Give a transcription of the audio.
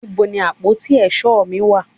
níbo ni àpótí èsó mi wà